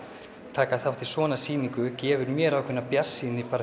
taka þátt í svona sýningu gefur mér ákveðna bjartsýni